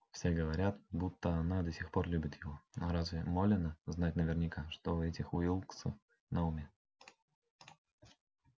все говорят будто она до сих пор любит его но разве молено знать наверняка что у этих уилксов на уме